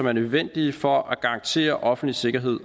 er nødvendige for at garantere offentlig sikkerhed